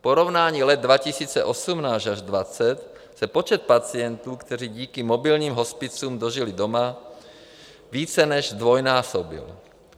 V porovnání let 2018 až 2020 se počet pacientů, kteří díky mobilním hospicům dožili doma, více než zdvojnásobil.